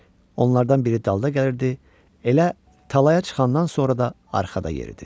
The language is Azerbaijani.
Onlardan biri dalda gəlirdi, elə talaya çıxandan sonra da arxada yeridi.